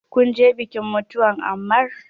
Kunje bikin mutuwan Ammar?